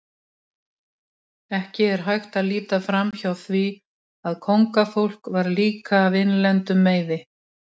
Ekki er hægt að líta framhjá því að kóngafólk var líka af innlendum meiði.